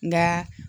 Nka